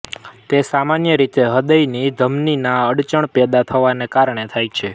તે સામાન્ય રીતે હૃદયની ધમનીમાં અડચણ પેદા થવાને કારણે થાય છે